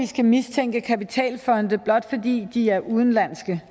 skal mistænke kapitalfonde blot fordi de er udenlandske